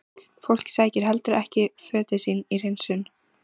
Fólk sækir heldur ekki fötin sín í hreinsun?